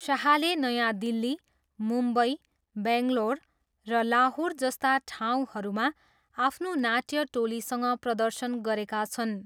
शाहले नयाँ दिल्ली, मुम्बई, बेङ्गलोर र लाहोर जस्ता ठाउँहरूमा आफ्नो नाट्य टोलीसँग प्रदर्शन गरेका छन्।